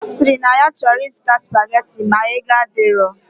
Osiri na ya choro izuta spaghetti ma ego adiro.